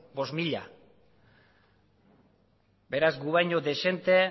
bost mila beraz gu baino dezente